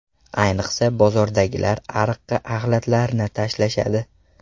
Ayniqsa, bozordagilar ariqqa axlatlarini tashlashadi.